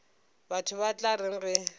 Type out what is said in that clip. batho ba tla reng ge